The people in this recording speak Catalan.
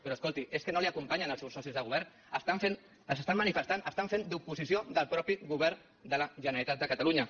però escolti és que no l’acompanyen els seus socis de govern s’estan manifestant estan fent d’oposició del mateix govern de la generalitat de catalunya